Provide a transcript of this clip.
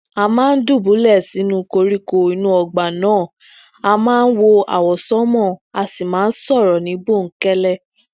a máa ń dùbúlè sinú koríko inú ọgbà náà aa máa wo àwọsánmà a sì máa ń sọrọ ni bonkẹlẹ